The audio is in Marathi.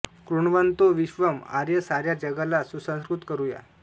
कृण्वन्तो विश्वम् आर्यं साऱ्या जगाला सुसंस्कृत करू या